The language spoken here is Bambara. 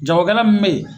Jagokɛla min bɛ yen